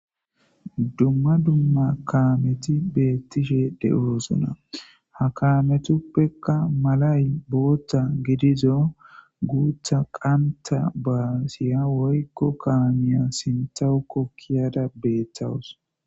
Dumma dumma kaameti beettishe de'oosona hakaametuppekka malay bootta gidizo guutha qanta baasiya woykko kaamiya sintawukokkiyada beeththawus.